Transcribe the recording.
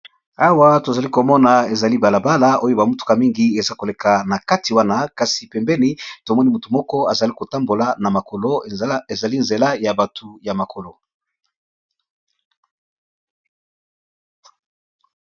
Awa tozali komona ezali balabala oyo bamutuka mingi eza koleka na kati wana kasi pembeni tomoni motu moko azali kotambola na makolo ezali nzela ya batu ya makolo.